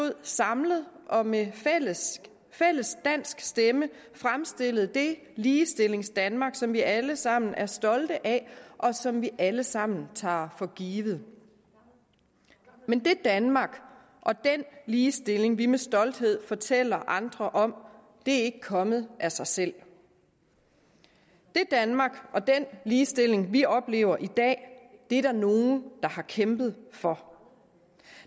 samlet og med fælles fælles dansk stemme kan fremstille det ligestillingsdanmark som vi alle sammen er stolte af og som vi alle sammen tager for givet men det danmark og den ligestilling vi med stolthed fortæller andre om er ikke kommet af sig selv det danmark og den ligestilling vi oplever i dag er der nogle der har kæmpet for